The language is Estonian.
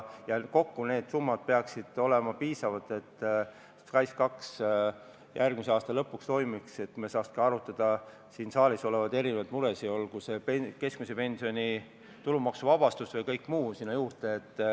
Kokku peaksid need summad olema piisavad, et SKAIS2 järgmise aasta lõpuks toimiks ja me saaks arutada siin saalis ka teisi muresid, olgu see keskmise pensioni tulumaksuvabastus või kõik muu sinna juurde.